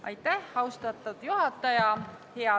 Aitäh, austatud juhataja!